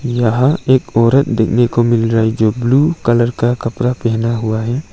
यहाँ एक औरत देखने को मिल रही है जो ब्लू कलर का कपड़ा पहने हुई है।